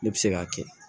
Ne bɛ se k'a kɛ